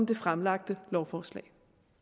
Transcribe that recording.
det fremlagte lovforslag